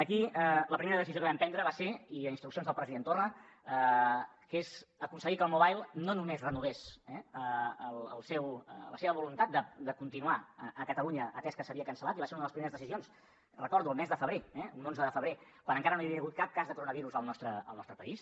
aquí la primera decisió que vam prendre va ser i a instruccions del president torra aconseguir que el mobile no només renovés la seva voluntat de continuar a catalunya atès que s’havia cancel·lat i va ser una de les primeres decisions recordo el mes de febrer eh un onze de febrer quan encara no hi havia hagut cap cas de coronavirus al nostre país